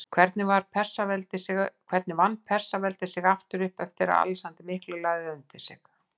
Hvernig vann Persaveldi sig upp aftur eftir að Alexander mikli lagði það undir sig?